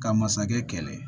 Ka masakɛ kɛlɛ